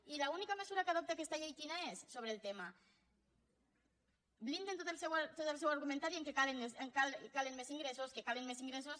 i l’única mesura que adopta aquesta llei quina és sobre el tema blinden tot el seu argumentari en el fet que calen més ingressos